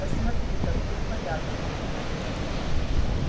посмотри какой порядок кругом